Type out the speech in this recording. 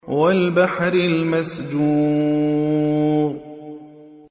وَالْبَحْرِ الْمَسْجُورِ